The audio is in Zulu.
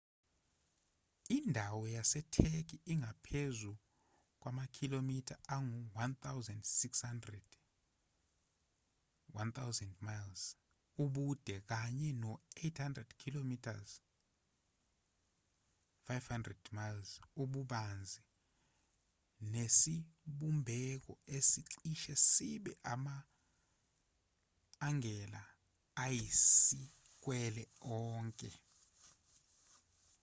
indawo yasetheki ingaphezu kwamakhilomitha angu-1,600 1,000 mi ubude kanye no-800 km 500 mi ububanzi nesibumbeko esicishe sibe ama-angela ayisikwele onke